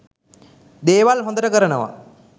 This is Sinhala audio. දේවල් හොදට කරනවා.